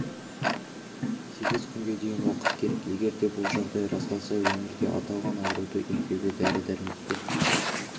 сегіз күнге дейін уақыт керек егер де бұл жағдай расталса өңірде аталған ауруды емдеуге дәрі-дәрмектер